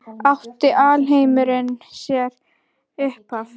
Átti alheimurinn sér upphaf?